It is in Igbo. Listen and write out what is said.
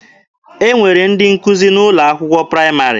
E nwere ndị nkụzi n'ụlọ akwụkwọ praịmarị.